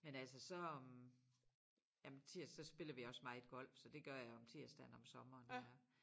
Men altså så om jamen tirsdag der spiller vi også meget golf så det gør jeg om tirsdagen om sommeren nu her